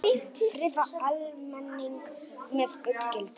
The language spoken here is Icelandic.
Friða almenning með útgjöldum